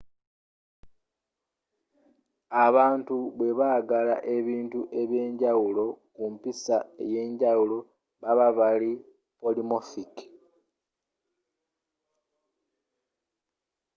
abantu bwe balaga ebintu ebyenjawulo ku mpiisa eyenjawulo baaba bali polymorphic